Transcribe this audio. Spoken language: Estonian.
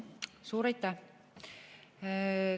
Suur aitäh!